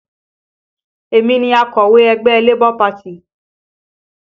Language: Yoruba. Èmi ni akọ̀wé ẹgbẹ́ Labour Party